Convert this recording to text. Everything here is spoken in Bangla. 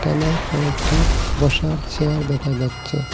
এখানে কয়েকটি বসার চেয়ার দেখা যাচ্ছে।